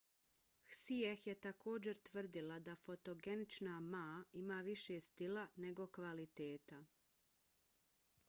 hsieh je također tvrdila da fotogenična ma ima više stila nego kvaliteta